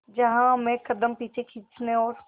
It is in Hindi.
जहां हमें कदम पीछे खींचने और